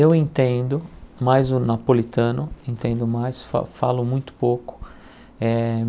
Eu entendo, mas o napolitano entendo mais, fa falo muito pouco eh.